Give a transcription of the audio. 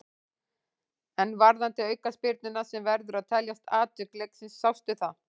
En varðandi aukaspyrnuna sem verður að teljast atvik leiksins, sástu það?